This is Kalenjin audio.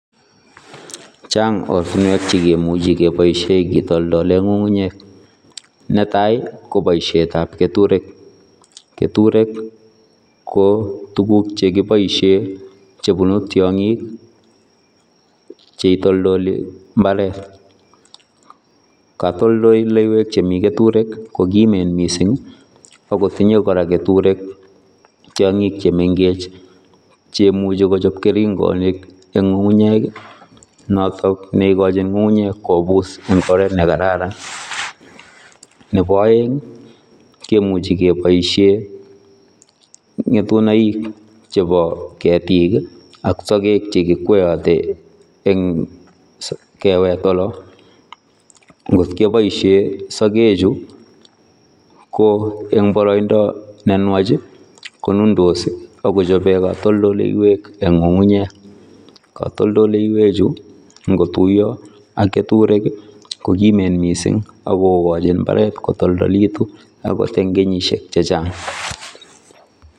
Chaang ortinweek che kimuchei kebaisheen kitoltoleen ngungunyeek netai ii ko boisiet ab ketureek ,ketureek ii ko tuguuk che kibaisheen che bunuun tiangiik ,che ii toltolii mbaret ,katoltoleiweek chemii ketureek ii ko kimeen missing, ako tinye kora ketureek tiangiik che mengech chekimuchei kochaap keringanik chekimuchei kochaap ngungunyeek ii notoon neigachiin ngungunyeek kobuus eng oret ne kararan, ne bo aeng kemuchei kebaisheen ngetunaik chebo ketiik ii ak sageg cheimuuch kekwayate eng keweet oloon ngoot kebaisheen ngetunaik chuu ko en baraindaa ne nwaach ii ko nundos ii akechapeen katoltoleiweek eng ngungunyeek, katoltoleiweek chuu ngo tuyaa ak ketureek ii ko kimeen missing akogachin mbaret kotoltoliit ii akoot eng kenyisiek chechaang.